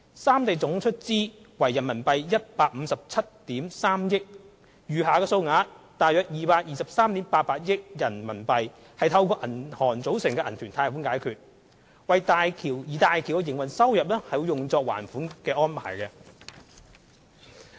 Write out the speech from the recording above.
三地總出資額為157億 3,000 萬元人民幣，餘下的數額約223億 8,800 萬元人民幣則透過銀行組成的銀團貸款解決，而大橋的營運收入會作還款之用。